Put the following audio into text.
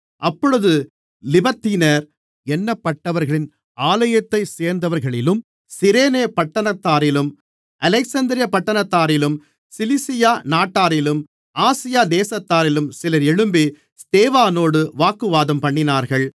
அப்பொழுது லிபர்த்தீனர் என்னப்பட்டவர்களின் ஆலயத்தைச் சேர்ந்தவர்களிலும் சிரேனே பட்டணத்தாரிலும் அலெக்சந்திரியா பட்டணத்தாரிலும் சிலிசியா நாட்டாரிலும் ஆசியா தேசத்தாரிலும் சிலர் எழும்பி ஸ்தேவானோடு வாக்குவாதம்பண்ணினார்கள்